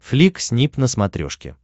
флик снип на смотрешке